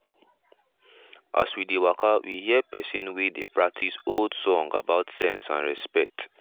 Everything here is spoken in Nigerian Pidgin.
as we dey waka we hear pesin wey dey practice old song about sense and respect.